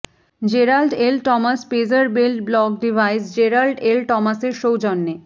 Gerald L Thomas pager belt buckle device Gerald L টমাসের সৌজন্যে